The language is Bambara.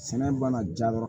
Sɛnɛ mana ja yɔrɔ